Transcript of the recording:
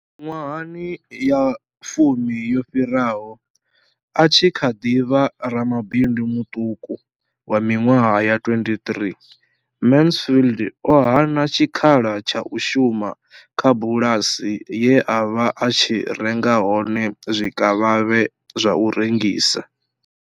Miṅwaha ya fumi yo fhiraho, a tshi kha ḓi vha ramabindu muṱuku wa miṅwaha ya 23, Mansfield o hana tshikhala tsha u shuma kha bulasi ye a vha a tshi renga hone zwikavhavhe zwa u rengisa.